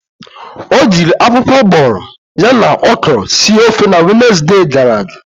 O jiri akwụkwọ ugboghoro ya na okwuru sir ofe na Wenezde gara aga.